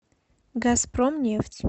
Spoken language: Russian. газпромнефть